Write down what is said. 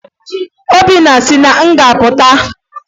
Obinna si na nga pụta